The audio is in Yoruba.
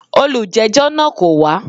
Olùjẹ́jọ́ náà kò wá.